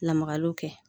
Lamagaliw kɛ